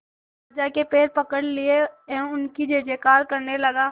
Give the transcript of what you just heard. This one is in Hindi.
राजा के पैर पकड़ लिए एवं उनकी जय जयकार करने लगा